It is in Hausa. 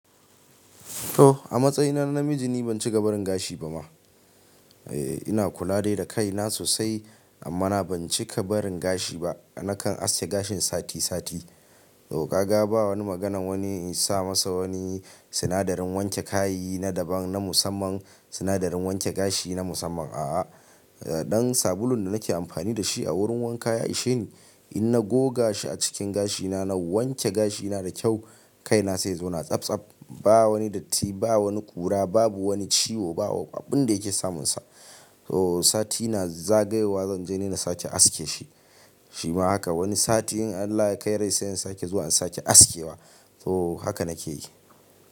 To! A matsayina na namiji ni ban cika barin gashi ba ma. Eee, ina kula dai da kaina sosai amma na ban cika barin gashi ba. Nakan aske gashin sati sati. To kaga ba wani maganan wani in sa masa wani sinadarin wanke kayi na daban na musamman, sinadarin wanke gashi na musamman a'a. A ɗan sabulun da nake amfani da shi a wurin wanka ya isheni. In na goga shi a cikin gashina na wanke gashina da kyau, kaina sai ya zauna tsabtsab. Ba wani datti, ba wani ƙura, babu wani ciwo, ba abun da yake samunsa. To! Satina zagayowa zan je ni na sake aske shi. Shima haka wani sati in Allah ya kai rai sai in sake zuwa in sake aske wa. To! Haka nake yi.